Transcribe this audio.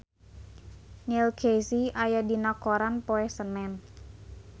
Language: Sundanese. Neil Casey aya dina koran poe Senen